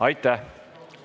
Aitäh!